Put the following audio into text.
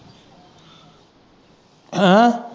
ਹੈਅ।